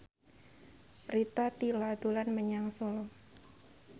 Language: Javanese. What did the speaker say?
Rita Tila dolan menyang Solo